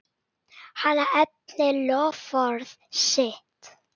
Hann efnir loforð sitt.